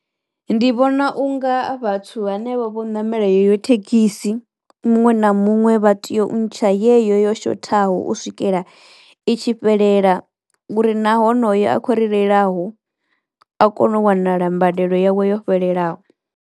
Ndi vhona unga vhathu hanevha vho ṋamela heyo thekhisi muṅwe na muṅwe vha teyo u ntsha yeyo yo shothaho u swikela i tshi fhelela uri na honoyo a kho ri reilaho a kono u wanala mbadelo yawe yo fhelelaho.